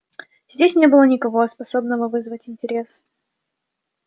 здесь не было никого способного вызвать интерес